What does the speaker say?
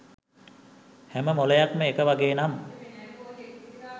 හැම මොලයක්ම එක වගේ නම්